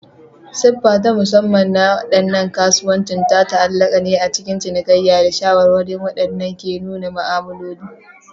Siffa ta musamman na waɗannan kasuwannin ta ta'allaka ne a cikin cinikayya da shawarwari waɗanda ke nuna ma'amaloli.